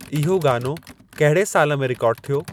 इहो गानो कहिड़े साल में रिकार्डु थियो